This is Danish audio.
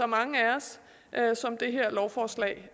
mange af os og som det her lovforslag